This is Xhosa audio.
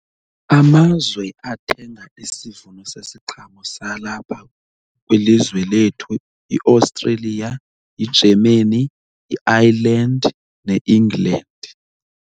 Amazwe athenga isivuno sesiqhamo salapha kwilizwe lethu yiAustralia, yiGermany, yi-Island ne-England.